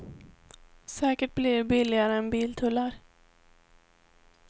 Säkert blir det billigare än biltullar.